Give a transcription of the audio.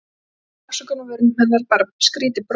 En það var engin afsökun á vörum hennar, bara skrýtið bros.